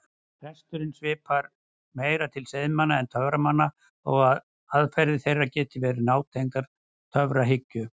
Prestum svipar meir til seiðmanna en töframanna þó að aðferðir þeirra geti verið nátengdar töfrahyggju.